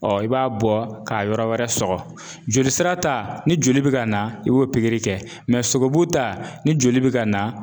i b'a bɔ k'a yɔrɔ wɛrɛ sɔgɔ. Joli sira ta ni joli bɛ ka na, i b'o pikiri kɛ. Mɛ sogobu ta ni joli bɛ ka na